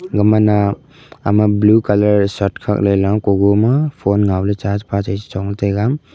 gamai na ama blue colour shirt khak ley la kugo ma phone ngaw ley chapa chei chong taiga.